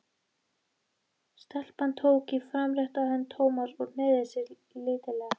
Hún kokgleypti skýringuna, nánast of heppilega til að vera trúverðuga.